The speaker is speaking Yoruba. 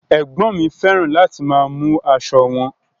Ẹgbọn mi fẹràn láti máa mú aṣọ wọn.